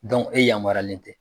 e yamarualen tɛ.